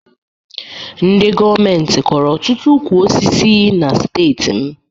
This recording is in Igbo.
Ndị gọọmentị kọrọ ọtụtụ ukwu osisi na steeti m